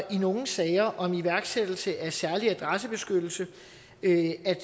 i nogle sager om iværksættelse af særlig adressebeskyttelse